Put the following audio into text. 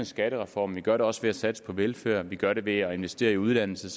skattereformen vi gør det også ved at satse på velfærden og vi gør det ved at investere i uddannelse